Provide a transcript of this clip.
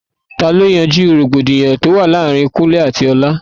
Ta ló yanjú rògbòdìyàn tó wà láàárín Kúnlẹ́ àti Ọlá?